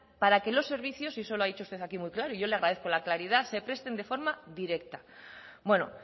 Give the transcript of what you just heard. para que los servicios y eso lo ha dicho usted aquí muy claro y yo le agradezco la claridad se presten de forma directa bueno